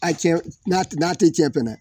A cɛ n'a tɛ cɛ fɛ